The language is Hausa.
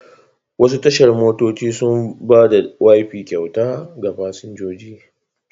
Wasu tashar motoci suna ba da wifi kyauta ga fasinjoji.